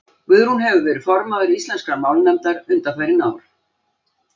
Guðrún hefur verið formaður Íslenskrar málnefndar undanfarin ár.